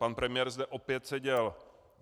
Pan premiér zde opět seděl.